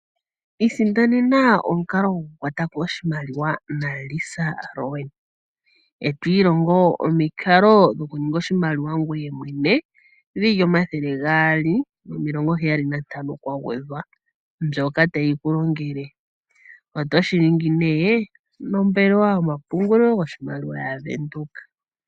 Isindanena omukalo gokukwatako oshimaliwa naLisa Rowan e to ilongo omikalo dhokuninga oshimaliwa ngoye mwene dhili omathele gaali nomilongo heyali nantano kwa gwedhwa mbyoka tayi ku longele oto shiningi ne nombelewa yomapungulilo yoshimaliwa yaVenduka.